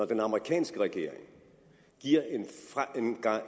den amerikanske regering giver